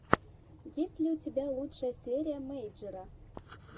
есть ли у тебя лучшая серия мэйджера